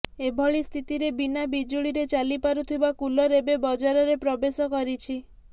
ଏଭଳି ସ୍ଥିତିରେ ବିନା ବିଜୁଳିରେ ଚାଲିପାରୁଥିବା କୁଲର ଏବେ ବଜାରରେ ପ୍ରବେଶ କରିଛି